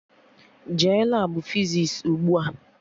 Jee Labụ fizis ugbua!